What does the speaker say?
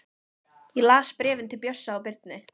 Ég las bréfin til Bjössa og Birnu.